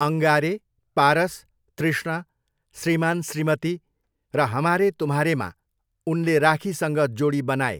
अंगारे, पारस, तृष्णा, श्रीमान श्रीमती र हमारे तुम्हारेमा उनले राखीसँग जोडी बनाए।